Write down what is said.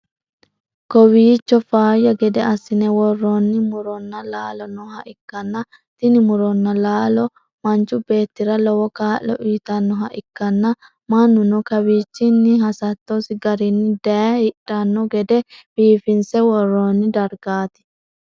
kowiicho faayya gede assi'ne worroonno muronna laallo nooha ikkanna, tini muronna laallono manchu beettira lowo kaa'lo uytannoha ikkanna, mannuno kawiichinni hasattosi garinni daye hidhanno gede biiffinse woroonni dargaati.